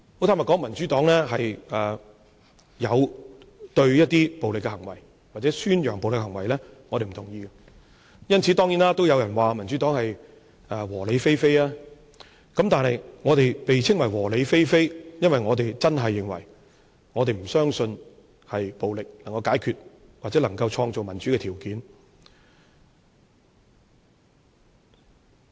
坦白說，民主黨有對暴力行為或宣揚暴力的行為表示不同意，當然也有人因此說民主黨是"和理非非"，但我們被稱為"和理非非"，因為我們真的不相信暴力能夠解決問題或創造民主的條件。